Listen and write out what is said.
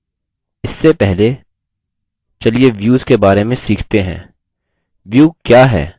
इससे पहले views के बारे में सीखते हैं view क्या है